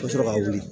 I bɛ sɔrɔ ka wuli